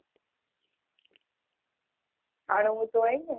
જાણવું તો હોય ને